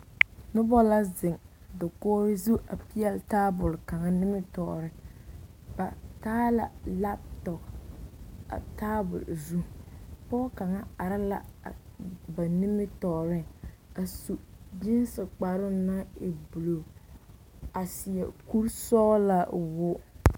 Noba la zeŋ dakori zu a pɛɛle taa tabol kaŋa nimitɔreŋ ba taa la kompita a tabol zu, pɔge are la a ba nimitɔreŋ a su gense kparoo naŋ e buuluu a seɛ kure sɔglaa o wogi.